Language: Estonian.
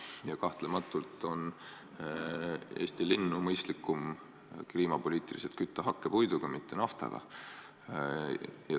Ja kahtlematult on kliimapoliitika mõttes Eesti linnu mõistlikum kütta hakkpuiduga, mitte naftaga.